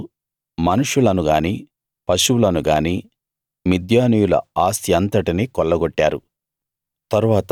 వారు మనుషులను గాని పశువులను గాని మిద్యానీయుల ఆస్తి అంతటినీ కొల్లగొట్టారు